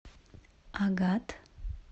агат